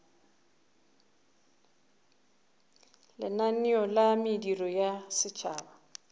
lenaneo la mediro ya setšhaba